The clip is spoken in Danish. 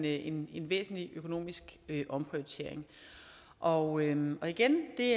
en væsentlig økonomisk omprioritering og igen det